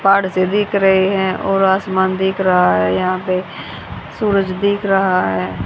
बाढ़ से दिख रहे हैं और आसमान दिख रहा है यहां पे सूरज दिख रहा है।